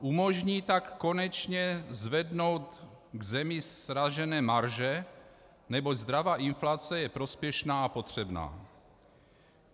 Umožní tak konečně zvednout v zemi sražené marže, neboť zdravá inflace je prospěšná a potřebná.